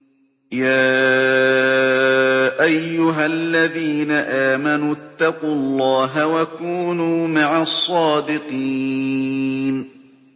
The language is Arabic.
يَا أَيُّهَا الَّذِينَ آمَنُوا اتَّقُوا اللَّهَ وَكُونُوا مَعَ الصَّادِقِينَ